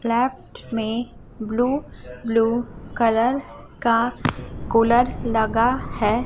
Flat में blue blue colour का cooler लगा है।